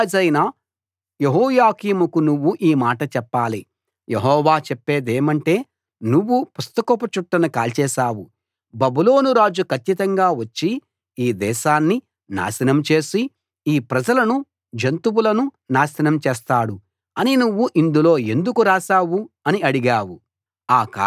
యూదా రాజైన యెహోయాకీముకు నువ్వు ఈ మాట చెప్పాలి యెహోవా చెప్పేదేమంటే నువ్వు పుస్తకపు చుట్టను కాల్చేశావు బబులోను రాజు కచ్చితంగా వచ్చి ఈ దేశాన్ని నాశనం చేసి ఈ ప్రజలను జంతువులను నాశనం చేస్తాడు అని నువ్వు ఇందులో ఎందుకు రాశావు అని అడిగావు